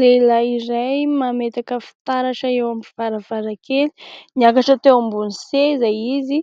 Lehilahy iray mametaka fitaratra eo amin'ny varavarankely. Niakatra teo ambony seza izy